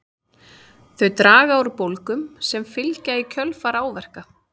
Þau draga úr bólgum sem fylgja í kjölfar áverka.